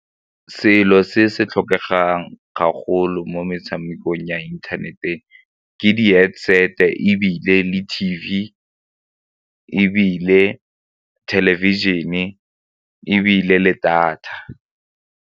Selo se se tlhokegang gagolo mo metshamekong ya internet-e ke di-headset-e ebile le T_V ebile television-e ebile le data.